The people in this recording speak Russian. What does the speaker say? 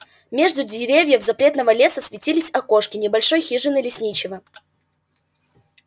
между деревьев запретного леса светились окошки небольшой хижины лесничего